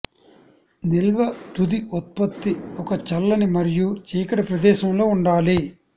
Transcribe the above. నిల్వ తుది ఉత్పత్తి ఒక చల్లని మరియు చీకటి ప్రదేశంలో ఉండాలి